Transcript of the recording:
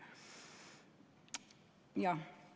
Jah.